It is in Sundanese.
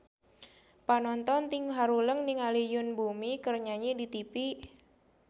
Panonton ting haruleng ningali Yoon Bomi keur nyanyi di tipi